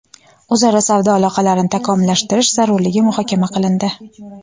o‘zaro savdo aloqalarini takomillashtirish zarurligi muhokama qilindi.